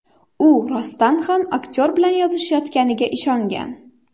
U rostdan ham aktyor bilan yozishayotganiga ishongan.